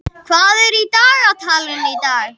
Kristjóna, hvað er í dagatalinu í dag?